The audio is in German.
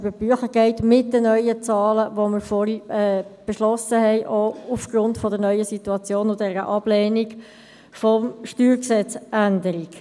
Man soll mit den neuen Zahlen, die wir vorhin beschlossen haben, über die Bücher gehen, auch aufgrund der neuen Situation durch die Ablehnung der Änderung